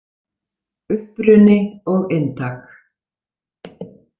Uppruni og inntak.